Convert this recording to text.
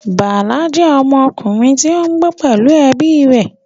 Bala jẹ́ ọmọkùnrin tí ó ń gbé pẹ̀lú ẹbí rẹ̀